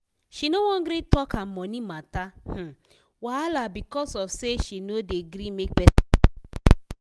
she no wan gree tok her money matter um wahala becos of say she no dey gree make person help am.